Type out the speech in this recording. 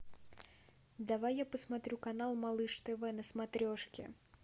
давай я посмотрю канал малыш тв на смотрешке